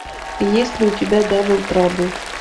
есть ли у тебя дабл трабл